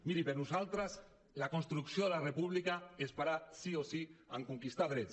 miri per nosaltres la construcció de la república es farà sí o sí en conquistar drets